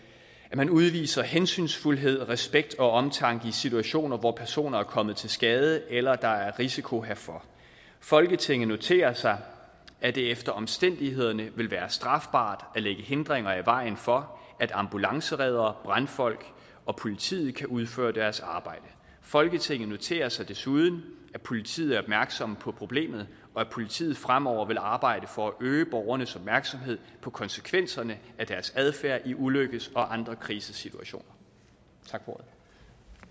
man udviser hensynsfuldhed respekt og omtanke i situationer hvor personer er kommet til skade eller der er risiko herfor folketinget noterer sig at det efter omstændighederne vil være strafbart at lægge hindringer i vejen for at ambulancereddere brandfolk og politiet kan udføre deres arbejde folketinget noterer sig desuden at politiet er opmærksomme på problemet og at politiet fremover vil arbejde for at øge borgernes opmærksomhed på konsekvenserne af deres adfærd i ulykkes og andre krisesituationer